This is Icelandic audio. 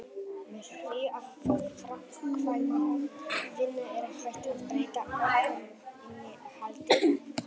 með því að framkvæma vinnu er hægt að breyta orkuinnihaldi hluta